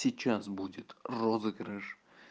сейчас будет розыгрыш